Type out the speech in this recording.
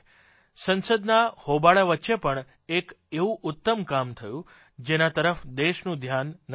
સંસદના હોબાળા વચ્ચે પણ એક એવું ઉત્તમ કામ થયું જેના તરફ દેશનું ધ્યાન નથી ગયું